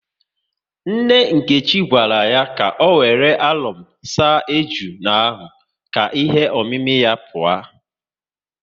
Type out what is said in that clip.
Nne Nkechi gwara ya ka ọ wéré alọm saa ejuna ka ihe omimi ya pụọ